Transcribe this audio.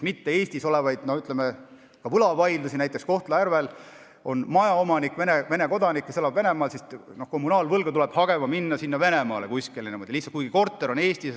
Näiteks on Kohtla-Järvel korteriomanik, Vene kodanik, kes elab Venemaal, ja kommunaalvõlga tuleb hagema minna Venemaale, kuigi korter on Eestis.